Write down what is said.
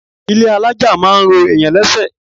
Ilé alájà máa ń ro èèyàn lẹ́sẹ̀.